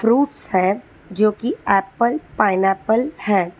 Fruits है जो की एप्पल पाइनएप्पल हैं।